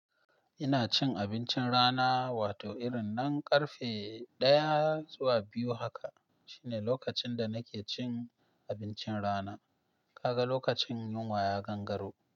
Ina cin abincin rana, wato irin na karfe ɗaya zuwa biyu haka shine lokacin da nake cin abincin rana. Kaga lokacin yunwa ya gangaro.